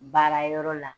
Baara yɔrɔ la